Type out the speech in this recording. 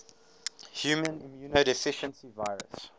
human immunodeficiency virus